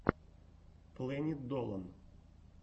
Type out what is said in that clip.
плэнит долан